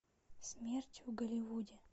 смерть в голливуде